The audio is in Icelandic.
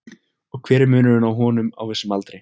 Og hver er munurinn á honum á vissum aldri?